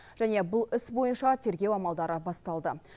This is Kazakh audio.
және бұл іс бойынша тергеу амалдары басталды